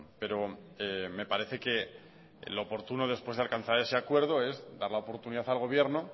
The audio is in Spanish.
pero me parece que lo oportuno después de alcanzar ese acuerdo es dar la oportunidad al gobierno